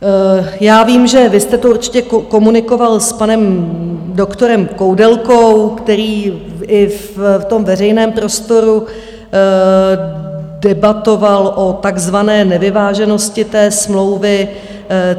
Já vím, že vy jste to určitě komunikoval s panem doktorem Koudelkou, který i v tom veřejném prostoru debatoval o takzvané nevyváženosti té smlouvy.